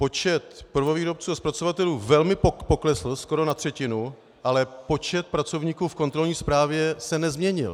Počet prvovýrobců a zpracovatelů velmi poklesl, skoro na třetinu, ale počet pracovníků v kontrolní správě se nezměnil.